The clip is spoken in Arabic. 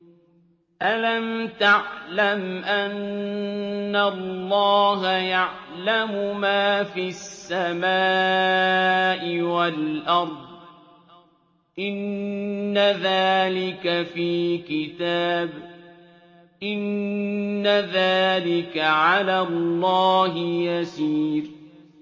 أَلَمْ تَعْلَمْ أَنَّ اللَّهَ يَعْلَمُ مَا فِي السَّمَاءِ وَالْأَرْضِ ۗ إِنَّ ذَٰلِكَ فِي كِتَابٍ ۚ إِنَّ ذَٰلِكَ عَلَى اللَّهِ يَسِيرٌ